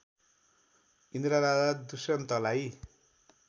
इन्द्र राजा दुष्यन्तलाई